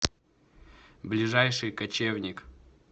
ближайший кочевник